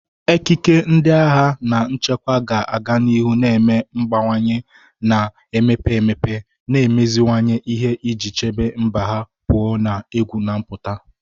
Ekike ndị agha na nchekwa ga-aga n'ihu na-eme mgbanwe, na-emepe emepe, na imeziwanye ihe iji chebe mba ha pụọ na egwu na-apụta.